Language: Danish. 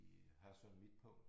I Hørsholm Midtpunkt